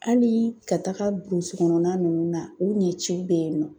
Hali ka taga burusikɔnɔna ninnu na u ɲɛciw bɛ yen nɔ